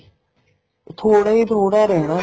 ਥੋੜਾ ਈ ਥੋੜਾ ਰਹਿਣਾ